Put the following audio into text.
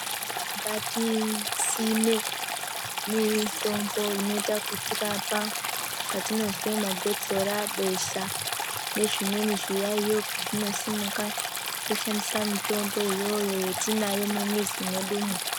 Ngatisime mitombo inota kutirapa patinozwe magotsora besha nezvimweni zviyayo zvinosimuka toshandisa mitombo iyoyo yatinayo mumwizimwedumo.